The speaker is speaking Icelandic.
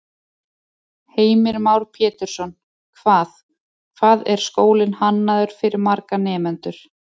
Heimir Már Pétursson: Hvað, hvað er skólinn hannaður fyrir marga nemendur?